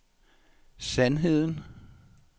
sandheden